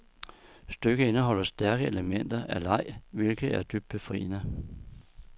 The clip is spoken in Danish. Stykket indeholder stærke elementer af leg, hvilket er dybt befriende.